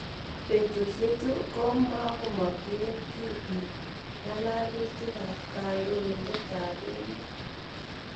Petusye chu ko mamogen kiy piik ng'alalutik ap kandoindet ap emet.